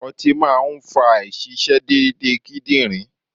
Ọtí máa ń fa àìṣiṣé déedéde kídìrí.